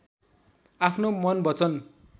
आफ्नो मन वचन